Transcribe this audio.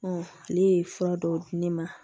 ale ye fura dɔw di ne ma